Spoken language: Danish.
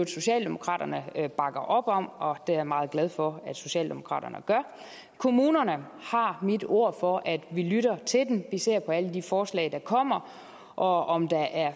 socialdemokraterne i øvrigt bakker op om og det er jeg meget glad for at socialdemokraterne gør kommunerne har mit ord for at vi lytter til dem vi ser på alle de forslag der kommer og om der er